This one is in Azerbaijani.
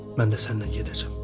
Mən də səninlə gedəcəm.